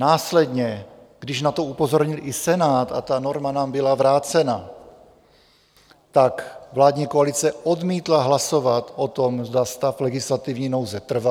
Následně, když na to upozornil i Senát a ta norma nám byla vrácena, tak vládní koalice odmítla hlasovat o tom, zda stav legislativní nouze trvá.